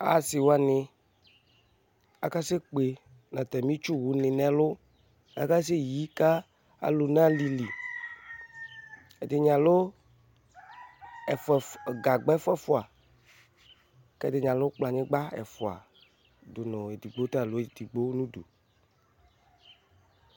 asiwani akasɛkpe nu atami itsuwlini nɛlu akasɛyi ka alu nu alilɩ ɛdini alu gagba efufua ɛdinɩ alu kplɔnyigba efufua edɩgbo ta alu edigbo nu idu